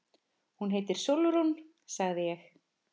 Hún heitir Sólrún, sagði ég.